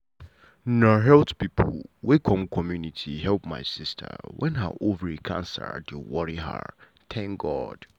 na health people wey come community help my sister wen ha ovary cancer dey worry her. um